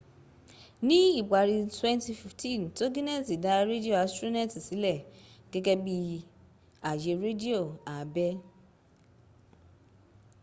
ní ìparí 2015 togineti dá rédíò astroneti sílẹ̀ gẹ́gẹ́ bí àyè rédíò àbẹ́